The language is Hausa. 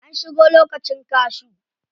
An shigo lokacin cashew.